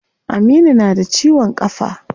Aminu na da ciwon kafa.